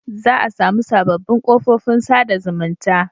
Za a samu sabobbin kofofin sa da zumunta